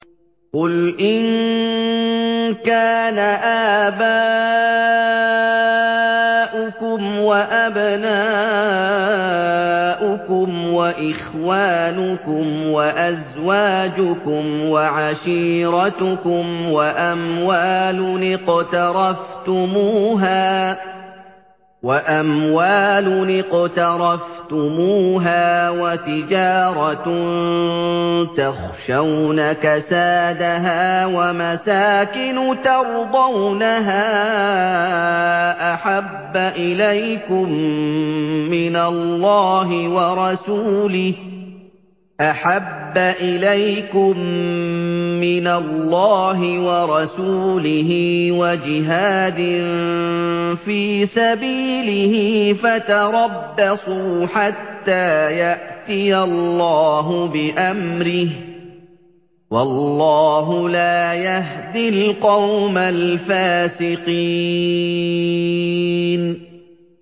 قُلْ إِن كَانَ آبَاؤُكُمْ وَأَبْنَاؤُكُمْ وَإِخْوَانُكُمْ وَأَزْوَاجُكُمْ وَعَشِيرَتُكُمْ وَأَمْوَالٌ اقْتَرَفْتُمُوهَا وَتِجَارَةٌ تَخْشَوْنَ كَسَادَهَا وَمَسَاكِنُ تَرْضَوْنَهَا أَحَبَّ إِلَيْكُم مِّنَ اللَّهِ وَرَسُولِهِ وَجِهَادٍ فِي سَبِيلِهِ فَتَرَبَّصُوا حَتَّىٰ يَأْتِيَ اللَّهُ بِأَمْرِهِ ۗ وَاللَّهُ لَا يَهْدِي الْقَوْمَ الْفَاسِقِينَ